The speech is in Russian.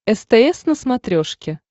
стс на смотрешке